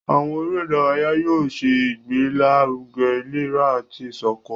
Àwọn eré ìdárayá yóò ṣe ìgbélaruge ìlera àti iṣọkan.